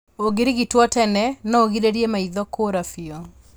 Ũngĩrigitwo tene, noũgirĩrĩrie maitho kũũra biũ